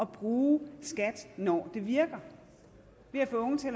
bruge skat når det virker til at få unge til